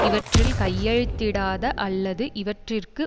இவற்றில் கையெழுத்திடாத அல்லது இவற்றிற்கு